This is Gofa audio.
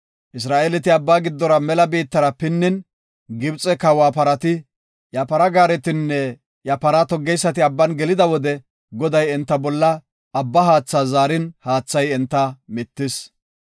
Isra7eeleti Abbaa giddora mela biittara pinnin, Gibxe kawa parati, iya para gaaretinne iya para toggeysati Abban gelida wode Goday enta bolla Abbaa haatha zaarin haathay enta mittis.